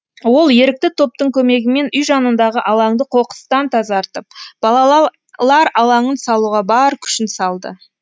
ол ерікті топтың көмегімен үй жанындағы алаңды қоқыстан тазартып балалар алаңын салуға бар күшін салды